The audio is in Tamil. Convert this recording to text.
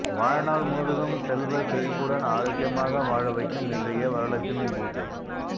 வாழ்நாள் முழுதும் செல்வ செழிப்புடன் ஆரோக்கியமாக வாழவைக்கும் இன்றைய வரலட்சுமி பூஜை